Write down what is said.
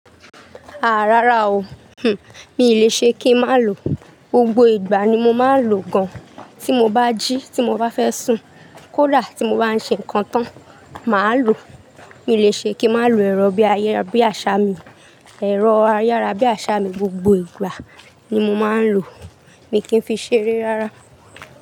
Aà rára o. Hn, mi ò lè ṣe kí n má ló. Gbogbo ìgbà ni mo máa ń lò gan. Tí mo bá jí, tí mo bá fẹ́ sùn, kó dà tí mo bá ń ṣe nǹkan tán, màá lò. Mi ò lè ṣe kí n má ló ẹ̀rọ̀ bí àṣà mi. Ẹ̀rọ̀ ayárabíàṣá mi gbogbo ìgbà ni mo máa ń lò. Mi kì í fi ṣeré rárá.